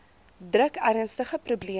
druk ernstige probleme